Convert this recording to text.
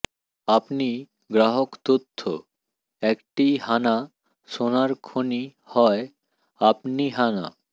আপনি গ্রাহক তথ্য একটি হানা সোনার খনি হয় আপনি হানা